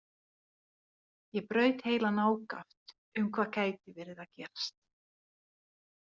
Ég braut heilann ákaft um hvað gæti verið að gerast.